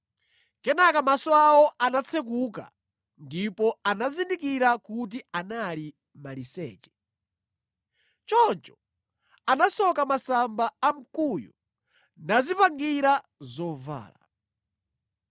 Kenaka maso awo anatsekuka, ndipo anazindikira kuti anali maliseche. Choncho anasoka masamba a mkuyu nadzipangira zovala.